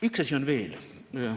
Üks asi on veel.